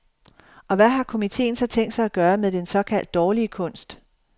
Og hvad har komiteen så tænkt sig at gøre med den såkaldt dårlige kunst?